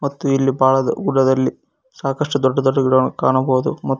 ಮತ್ತು ಇಲ್ಲಿ ಬಾಳದ ಗುಡ್ಡದಲ್ಲಿ ಸಾಕಷ್ಟು ದೊಡ್ಡ ದೊಡ್ಡ ಗಿಡಗಳನ್ನು ಕಾಣಬಹುದು ಮತ್ತು ಇಲ್ಲಿ--